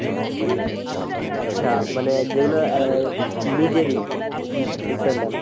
আচ্ছা, মানে যেগুলো অ্যা নিজেরই, হম বুঝতে পারলাম।